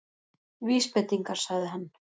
Vísbendingar- sagði hann.